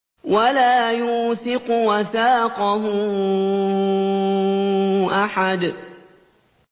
وَلَا يُوثِقُ وَثَاقَهُ أَحَدٌ